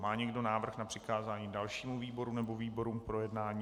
Má někdo návrh na přikázání dalšímu výboru nebo výborům k projednání?